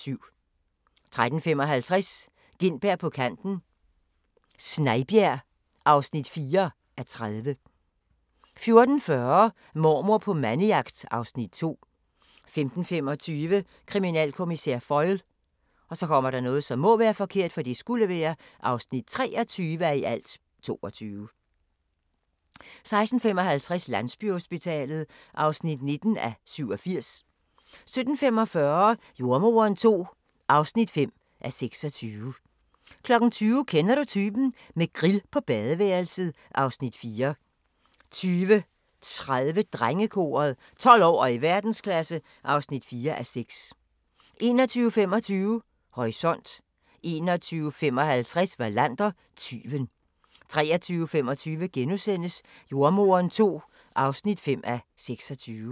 13:55: Gintberg på kanten – Snejbjerg (4:30) 14:40: Mormor på mandejagt (Afs. 2) 15:25: Kriminalkommissær Foyle (23:22) 16:55: Landsbyhospitalet (19:87) 17:45: Jordemoderen II (5:26) 20:00: Kender du typen? – med grill på badeværelset (Afs. 4) 20:30: Drengekoret - 12 år og i verdensklasse (4:6) 21:25: Horisont 21:55: Wallander: Tyven 23:25: Jordemoderen II (5:26)*